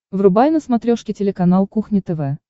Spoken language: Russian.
врубай на смотрешке телеканал кухня тв